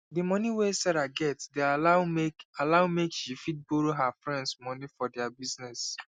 the moni wey sarah get dey allow make allow make she fit borrow her friends moni for their business